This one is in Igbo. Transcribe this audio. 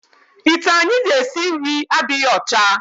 Ite anyị ji esi nri adịghị ọcha.